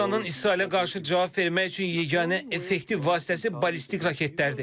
İranın İsrailə qarşı cavab vermək üçün yeganə effektiv vasitəsi ballistik raketlərdir.